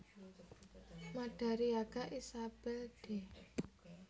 Madariaga Isabel de